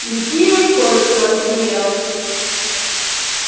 ликия коротко рассмеялась